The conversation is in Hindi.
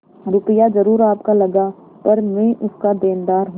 रुपया जरुर आपका लगा पर मैं उसका देनदार हूँ